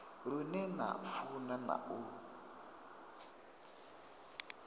lune na funa na u